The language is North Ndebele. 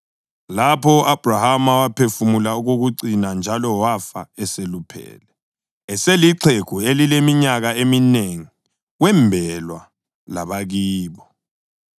Lapho u-Abhrahama waphefumula okokucina njalo wafa eseluphele, eselixhegu elileminyaka eminengi; wembelwa labakibo.